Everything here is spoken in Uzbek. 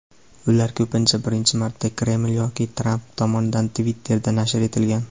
ular ko‘pincha birinchi marta Kreml yoki Tramp tomonidan Twitter’da nashr etilgan.